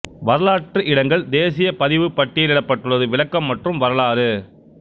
வரலாற்று இடங்கள் தேசிய பதிவு பட்டியலிடப்பட்டுள்ளது விளக்கம் மற்றும் வரலாறு